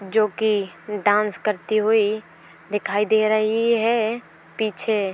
जोकि डांस करती हुई दिखाई दे रही है पीछे।